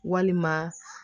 Walima